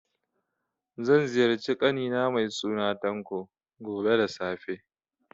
Zan ziyarci ƙani na mai suna Tanko, gobe da safe.